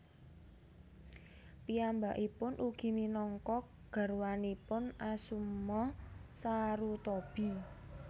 Piyambakipun ugi minangka garwanipun Asuma Sarutobi